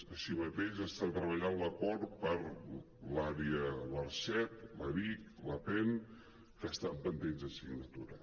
així mateix s’està treballant l’acord per a l’àrea l’arset l’apen l’aric que estan pendents de signatura